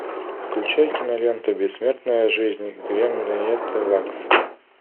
включай киноленту бессмертная жизнь генриетты лакс